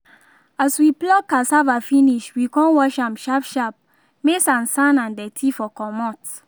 as we pluck cassava finish we con wash am sharp sharp may sansan and dirty for comot